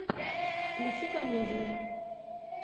включи комедию